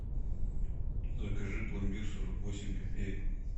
закажи пломбир сорок восемь копеек